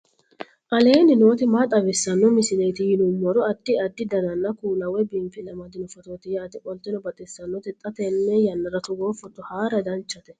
aleenni nooti maa xawisanno misileeti yinummoro addi addi dananna kuula woy biinfille amaddino footooti yaate qoltenno baxissannote xa tenne yannanni togoo footo haara danchate